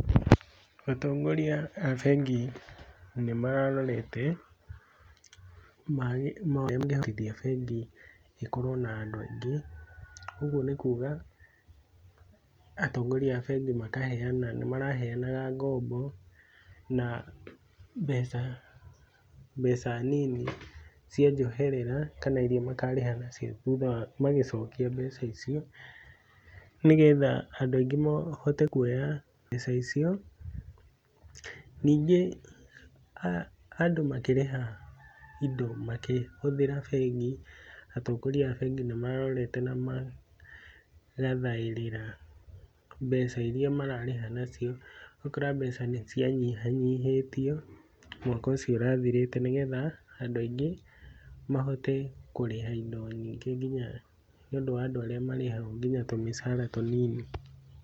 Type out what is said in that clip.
Atongoria a bengi nĩmararorete, magĩ, ũrĩa mangĩhotithia bengi, ĩkorũo na andũ aingĩ, ũguo nĩkuga, atongoria a bengi makaheana, nĩmaraheanaga ngombo, na, mbeca, mbeca nini cia njoherera, kana iria makarĩha nacio thutha wa magĩcokia mbeca icio, nĩgetha andũ aingĩ mahote kuoya mbeca icio, ningĩ, a, andũ makĩrĩha indo makĩhũthĩra bengi, atongoria a bengi nĩmarorete na maka, thaĩrĩra mbeca iria mararĩha nacio, ũgakora mbeca nĩcianyihanyihĩtio, mwaka ũcio ũrathirĩte nĩgetha, andũ aingĩ, mahote kũrĩha indo nyingĩ nginya nĩũndũ wa andũ arĩa marĩhagũo nginya tũmĩcara tũnini.